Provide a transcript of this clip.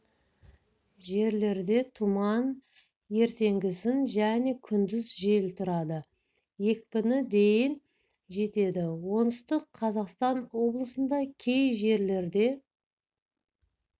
жерлерде тұман ертеңгісін және күндіз жел тұрады екпіні дейін жетеді оңтүстік қазақстан облысында кей жерлерде